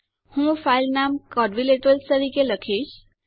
હું ફાઈલ નામ ક્વાડ્રિલેટરલ તરીકે લખીશ